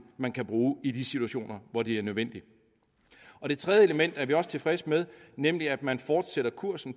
man kan bruge i de situationer hvor det er nødvendigt det tredje element er vi også tilfredse med nemlig at man fortsætter kursen